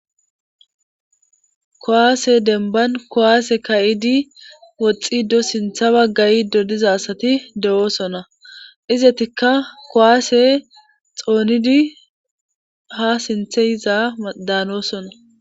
Kuwaase denban kowaase ka7idi woxxido sintha baggayidodiza asati de7oosona izatikka kowaase xoonidi ha sinthe iza daanoosona.